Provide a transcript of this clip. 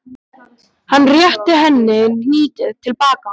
Hann rétti henni hnýtið til baka.